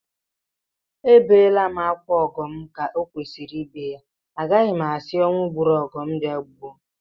Ebeela m akwa ọgọ m ka e kwesịrị ibe ya, agaghị m asị ọnwụ gburu ọgọ m bịa gbuo m